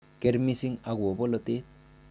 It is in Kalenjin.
Keer missing agobo bolotet.